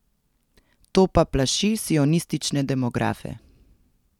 To pa plaši sionistične demografe.